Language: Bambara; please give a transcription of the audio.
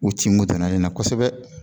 U ci mun tɛmɛ ne na kosɛbɛ